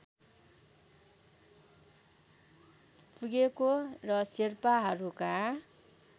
पुगेको र शेर्पाहरूका